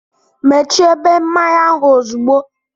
Mechie ebe mmanya ahụ ozugbo!